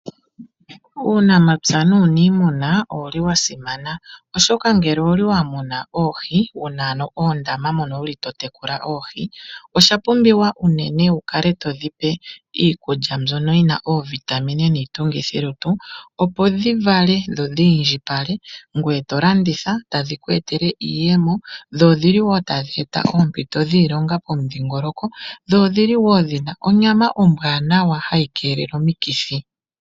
Uunamapya nuunimuna owuli wa simana, oshoka ngele owuli wa muna oohi, wuna oondama moka wuli to tekula oohi. Oshapumbiwa uunene wukale todhi pe iikulya mbyoka yina oovitamin niitungithi lutu, opo dhi vale dho dhiindjipale, ngoye to landitha, dho tadhiku etele iiyemo, dho odhili wo tadhi eta oompito dhiilonga pomudhingoloko, dho odhili wo dhina onyama ombwanawa tayi kelele omikithi.